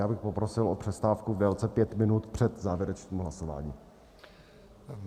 Já bych poprosil o přestávku v délce pět minut před závěrečným hlasováním.